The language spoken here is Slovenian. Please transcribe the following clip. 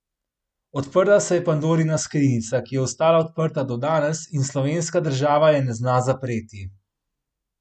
Odprla se je pandorina skrinjica, ki je ostala odprta do danes, in slovenska država je ne zna zapreti.